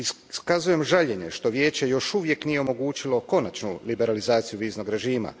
Iskazujem žaljenje što Vijeće još uvijek nije omogućilo konačnu liberalizaciju viznog režima.